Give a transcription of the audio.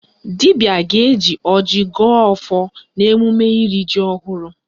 Dibịa ga-eji ọjị gọọ ọfọ n'emume iri ji ọhụrụ